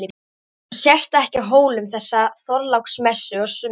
Hún sést ekki á Hólum þessa Þorláksmessu á sumri.